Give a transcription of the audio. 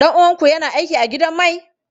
Ɗan uwanku yana aiki a gidan mai?